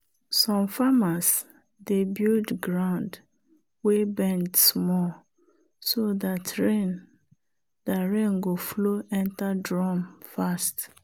some farmers dey build ground wey bend small so dat rain dat rain go flow enter drum fast.